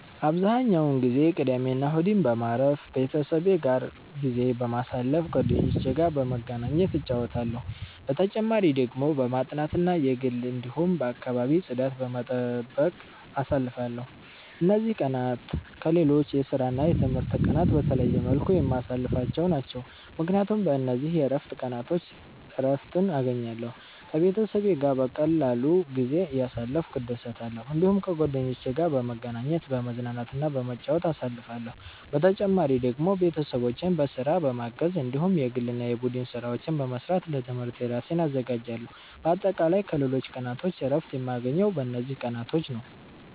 አብዛኛውን ጊዜ ቅዳሜና እሁድን በማረፍ፣ ቤተሰቤ ጋር ጊዜ በማሳለፋ ጓደኞቼ ጋር በመገናኘት እጫወታለሁ። በተጨማሪ ደግሞ በማጥናት እና የግል እንዲሁም የአከባቢ ጽዳት በመጠበቅ አሳልፍለሁ። እነዚህ ቀናት ከሌሎች የስራና የትምህርት ቀናት በተለየ መልኩ የማሳልፍቸው ናቸው፣ ምክንያቱም በእነዚህ የእረፍት ቀናቾች እረትን እገኛለሁ። ከቤተሰቤ ጋር በቀላሉ ጊዜ እያሳለፍኩ እደሰታለሁ። እዲሁም ከጓደኞቼ ጋር በመገናኘት፤ በመዝናናትና በመጫወት አሳልፍለሁ። በተጨማሪ ደግሞ ቤተሰቦቼን በስራ በማገዝ እንዲሁም የግል እና የቡድን ስራዎች በመስራት ለትምህርቴ እራሴን አዘጋጃለሁ። በአጠቃላይ ከሌሎች ቀናቶች እረፍት የማገኘው በእነዚህ ቀናቶች ነዉ።